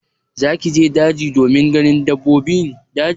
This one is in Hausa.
Zaki je daji domin ganin dabbobin daji?